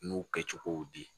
N y'o kɛ cogow di